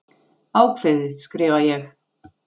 Ákveðið, skrifa ég.